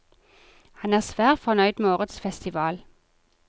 Han er svært fornøyd med årets festival.